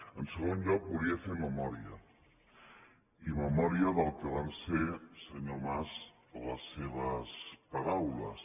en segon lloc volia fer memòria i memòria del que van ser senyor mas les seves paraules